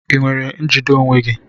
Ị nwere njide onwe gị?